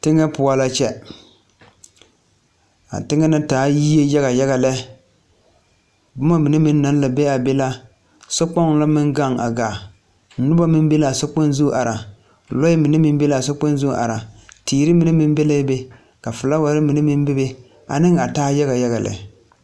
Teŋɛ poɔ la kyɛ a teŋɛ na taa la yie yaga yaga lɛ boma mine meŋ naŋ la be a be la sokpoŋ la gaŋ a gaa noba meŋ be la a sokpozu ara loɛ mine meŋ be la a sokpoŋ zu ara teere mine meŋ be la be ka felaaware meŋ be la be ane a taa yaga yaga lɛ.